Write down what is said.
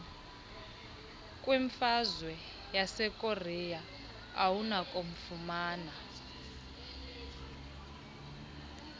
kwimfazwe yasekorea awunakufumana